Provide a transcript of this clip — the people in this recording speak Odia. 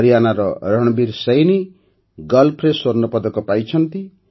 ହରିୟାନାର ରଣବୀର ସୈନି ଗଲ୍ଫରେ ସ୍ୱର୍ଣ୍ଣପଦକ ପାଇଛନ୍ତି